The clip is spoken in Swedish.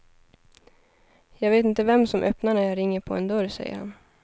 Jag vet inte vem som öppnar när jag ringer på en dörr, säger han.